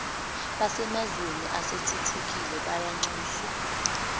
basemazweni asethuthukile bayanxuswa